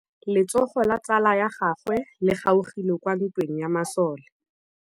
Letsôgô la tsala ya gagwe le kgaogile kwa ntweng ya masole.